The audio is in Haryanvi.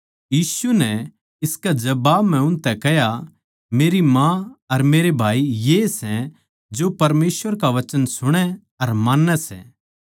यीशु नै इसकै जबाब म्ह उनतै कह्या मेरी माँ अर मेरे भाई यए सै जो परमेसवर का वचन सुणै अर मान्नैं सै